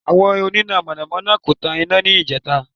Àwọn oníná Mọ̀nà mọ́ná kò tan iná níjẹta